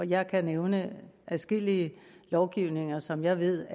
jeg kan nævne adskillige lovgivninger som jeg ved